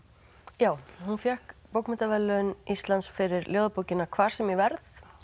já hún fékk bókmenntaverðlaun Íslands fyrir ljóðabókina hvar sem ég verð